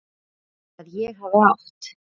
Að ég hafi átt?